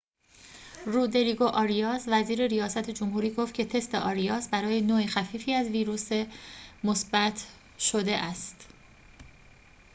رودریگو آریاس وزیر ریاست جمهوری گفت که تست آریاس برای نوع خفیفی از ویروس مثبت شده است